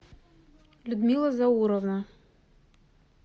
людмила зауровна